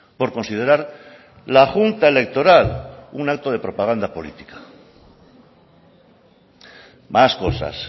por considerar la junta electoral un acto de propaganda política más cosas